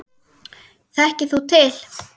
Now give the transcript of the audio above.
Þekkir þú til?